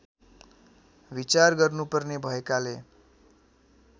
विचार गर्नुपर्ने भएकाले